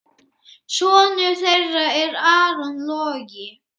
Sonur þeirra er Aron Logi.